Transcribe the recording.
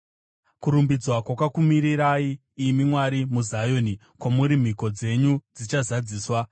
Kurumbidzwa kwakakumirirai, imi Mwari, muZioni; kwamuri mhiko dzedu dzichazadziswa.